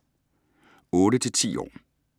8-10 år